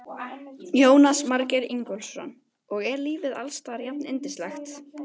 Jónas Margeir Ingólfsson: Og er lífið alls staðar jafnyndislegt?